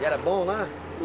E era bom lá?